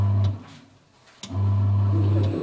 উম, চাইচো